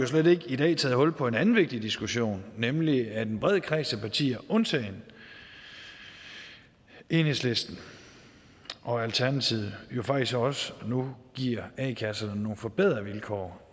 slet ikke taget hul på en anden vigtig diskussion nemlig at en bred kreds af partier undtagen enhedslisten og alternativet faktisk også nu giver a kasserne nogle forbedrede vilkår